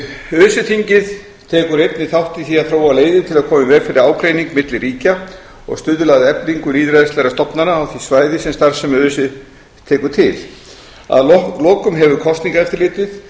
öse þingið tekur einnig þátt í því að þróa leiðir til að koma í veg fyrir ágreining milli ríkja og stuðla að eflingu lýðræðislegra stofnana á því svæði sem starfsemi öse tekur til að lokum hefur